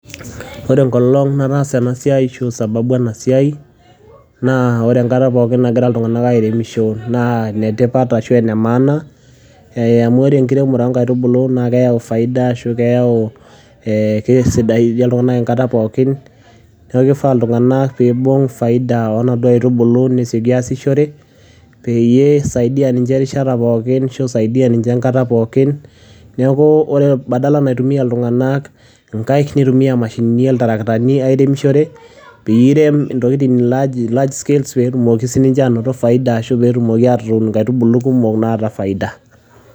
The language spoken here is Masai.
The day I did this work or the reason sababu of this work is all the times people are doing farming is of importance maana eh because the planting of seedlings brings profit faida or it brings eh makes people good all time so people are suppose to get profit of this seedlings and make use of them so that it helps them at all times so instead of people using their hands let them use machines like tractor to do planting in order to do farming in Large scales so that they get profit faida and plant more seedlings with profit.